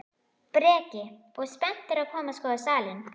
Breki: Og spenntur að koma og skoða salinn?